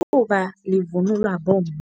Livunulwa bomma.